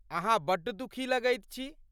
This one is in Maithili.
अहाँ बड्ड दुखी लगैत छी।